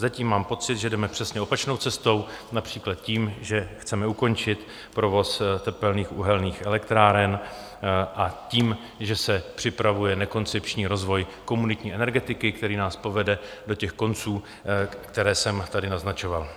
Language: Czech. Zatím mám pocit, že jdeme přesně opačnou cestou, například tím, že chceme ukončit provoz tepelných uhelných elektráren, a tím, že se připravuje nekoncepční rozvoj komunitní energetiky, který nás povede do těch konců, které jsem tady naznačoval.